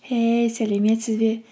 хей сәлеметсіз бе